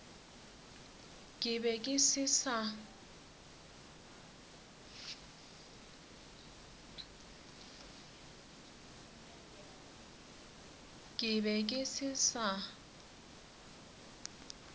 ke be ke se sa